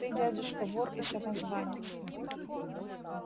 ты дядюшка вор и самозванец